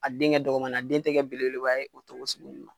A den kɛ dɔgɔmanin ye a den tɛ belebeleba ye o cogo sugunin na.